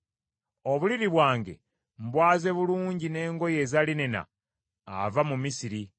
Obuliri bwange mbwaze bulungi n’engoye eza linena ava mu Misiri.